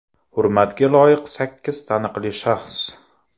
Hurmatga loyiq sakkiz taniqli shaxs.